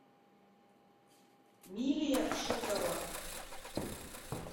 милия шутова